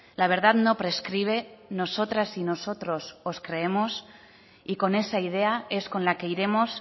la verdad no prescribe nosotras y nosotros os creemos y con esa idea es con la que iremos